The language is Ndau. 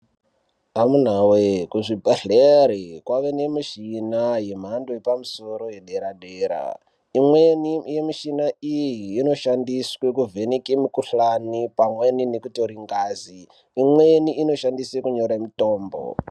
Amunaa wee kuzvibhedhera kwave nemichina yemhando yepamusoro yedera dera imweni yemuchina iyi inoshandiswe kuvheneke mukuhlani pamweni ngazi imweni inoshandiswe kunyore mitombo.